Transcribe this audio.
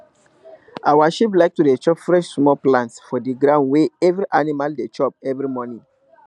our sheep like to dey chop fresh small plants for the ground wey every animal dey chop every morning